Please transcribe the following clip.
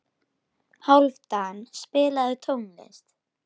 Hálfdan, spilaðu tónlist.